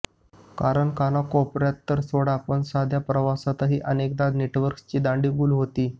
कारण कानाकोपऱ्यात तर सोडा पण साध्या प्रवासातही अनेकदा नेटवर्कची दांडी गुल होते